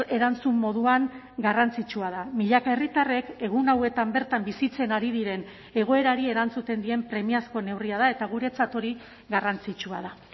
erantzun moduan garrantzitsua da milaka herritarrek egun hauetan bertan bizitzen ari diren egoerari erantzuten dien premiazko neurria da eta guretzat hori garrantzitsua da